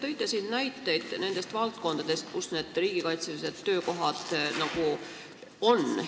Te tõite näiteid nende valdkondade kohta, kus neid riigikaitselisi töökohti on.